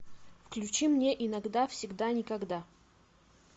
включи мне иногда всегда никогда